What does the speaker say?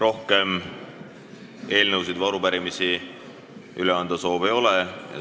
Rohkem soovi eelnõusid ega arupärimisi üle anda ei ole.